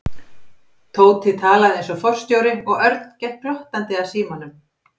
Tóti talaði eins og forstjóri og Örn gekk glottandi að símanum.